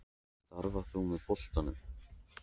Starfar þú með boltanum?